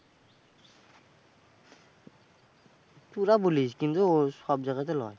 তোরা বলিস, কিন্তু সব জায়গা তে লয়।